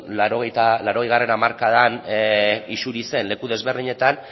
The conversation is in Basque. laurogeigarrena hamarkadan isuri zen leku ezberdinetan